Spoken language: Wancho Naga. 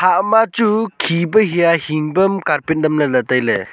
ama chu khi pa hia hing pam carpet nyemlaley tailey.